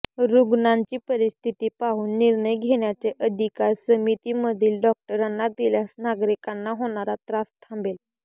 रुग्णांची परिस्थिती पाहून निर्णय घेण्याचे अधिकार समितीमधील डॉक्टरांना दिल्यास नागरिकांना होणारा त्रास थांबेल